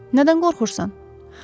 Nədən qorxursan?